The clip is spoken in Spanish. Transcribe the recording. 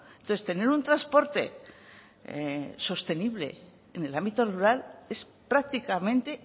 entonces tener un transporte sostenible en el ámbito rural es prácticamente